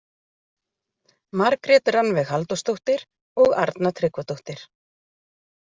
Margrét Rannveig Halldórsdóttir og Arna Tryggvadóttir.